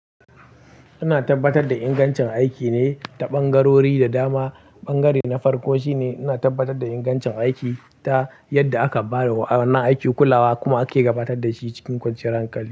Ina tabbatar da ingancin aikine ta ɓangarori da dama. Ɓangare na farko shine ina tabbatar da ingancin aiki ta yadda aka ba da wa'inan aiki kulawa kuma ake gabatar dashi cikin kwanciyar hankali.